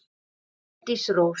Bryndís Rós.